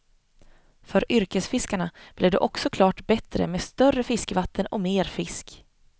För yrkesfiskarna blir det också klart bättre med större fiskevatten och mer fisk.